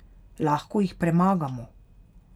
Lahko jih premagamo.